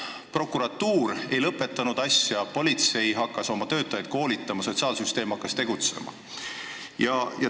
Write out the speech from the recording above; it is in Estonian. Prokuratuur ei lõpetanud asja, politsei hakkas oma töötajaid koolitama, sotsiaalsüsteem hakkas tegutsema.